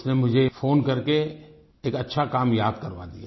उसने मुझे फोन करके एक अच्छा काम याद करवा दिया